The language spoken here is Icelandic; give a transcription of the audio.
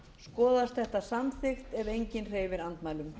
skoðast þetta samþykkt ef enginn hreyfir andmælum